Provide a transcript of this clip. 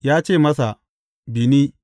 Ya ce masa, Bi ni.